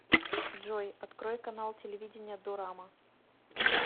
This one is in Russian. джой открой канал телевидения дорама